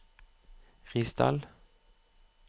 Risdal